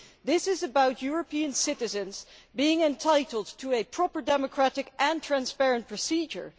This is about European citizens being entitled to a proper democratic and transparent procedure.